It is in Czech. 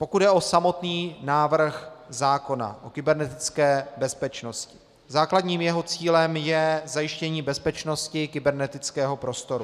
Pokud jde o samotný návrh zákona o kybernetické bezpečnosti, základním jeho cílem je zajištění bezpečnosti kybernetického prostoru.